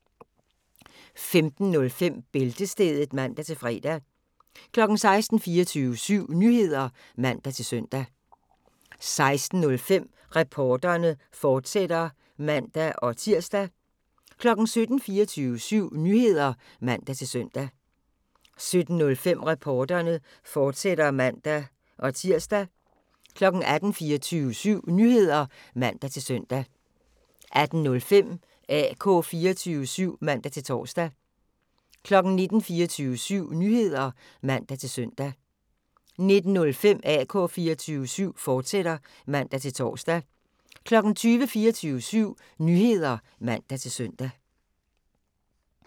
15:05: Bæltestedet (man-fre) 16:00: 24syv Nyheder (man-søn) 16:05: Reporterne, fortsat (man-tir) 17:00: 24syv Nyheder (man-søn) 17:05: Reporterne, fortsat (man-tir) 18:00: 24syv Nyheder (man-søn) 18:05: AK 24syv (man-tor) 19:00: 24syv Nyheder (man-søn) 19:05: AK 24syv, fortsat (man-tor) 20:00: 24syv Nyheder (man-søn)